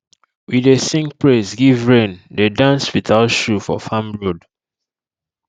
we dey sing praise give rain dey dance without shoe for farm road